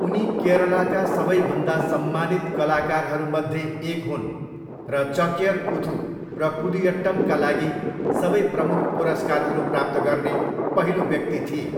उनी केरलाका सबैभन्दा सम्मानित कलाकारहरूमध्ये एक हुन् र चक्यर कुथू र कुडियट्टमका लागि सबै प्रमुख पुरस्कारहरू प्राप्त गर्ने पहिलो व्यक्ति थिए।